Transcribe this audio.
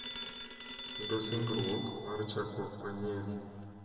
Kendo singruok mar chakruok manyien.